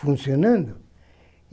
Funcionando.